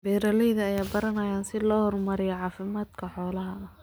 Beeralayda ayaa baranaya sida loo horumariyo caafimaadka xoolaha